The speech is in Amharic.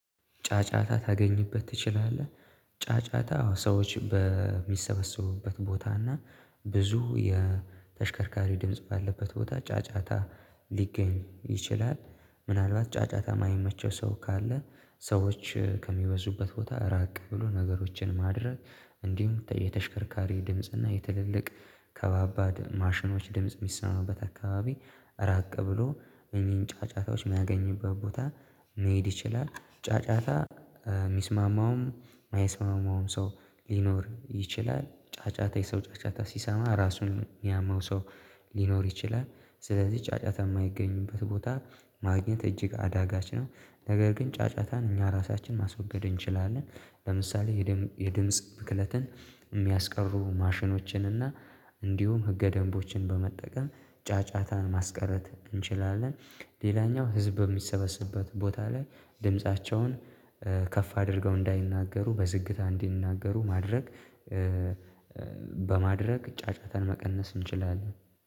ጫጫታ ታገኝበት ትችላለህ? ጫጫታ ሰዎች በሚሰበሰቡበት ቦታ እና ብዙ የተሽከርካሪ ድምጽ ባለበት ቦታ ጫጫታ ሊገኝ ይችላል ምናልባት ጫጫታ የማይመቸው ሰው ካለ ሰዎች ከሚበዙበት ቦታ ራቅ ብሎ ነገሮችን ማድረግ እንዲሁም የተሽከርካሪ ድምጽ እና የትልልቅ ከባድ ማሽኖች ድምጽ የሚሰማበት አካባቢ ራቅ ብሎ እኚህን ጫጫታዎች የሚያገኝበት ቦታ መሄድ ይችላል ጫጫታ የሚስማማውም የማይስማማውም ሰው ሊኖር ይችላል ጫጫታ የሰው ጫጫታ ሲሰማ ራሱን የሚያመው ሰው ሊኖር ይችላል ስለዚህ ጫጫታ የማይገኝበት ቦታ ማግኘት እጅግ አዳጋች ነው ነገር ግን ጫጫታን እኛ ራሳችንን ማስወገድ እንችላለን ለምሳሌ የድምጽ ብክለትን የሚያስቀሩ ማሽኖችን እና እንዲሁም ህገ ደንቦችን በመጠቀም ጫጫታን ማስቀረት እንችላለን ሌላኛው ህዝብ በሚሰበስብበት ቦታ ላይ ድምፃቸውን ከፍ አድርገው እንዳይናገሩ በዝግታ እንዲናገሩ ማድረግ በማድረግ ጫጫታን መቀነስ እንችላለን